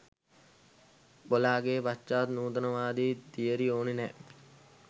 බොලාගේ පශ්චාත් නූතනවාදී තියරි ඕන නෑ